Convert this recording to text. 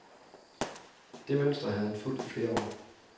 Det mønster havde han fulgt i flere år.